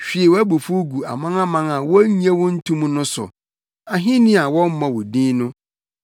Hwie wʼabufuw gu amanaman a wonnye wo nto mu no so, ahenni a wɔmmɔ wo din no;